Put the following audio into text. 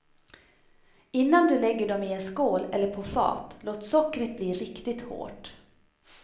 Innan du lägger dem i en skål eller på fat, låt sockret bli riktigt hårt.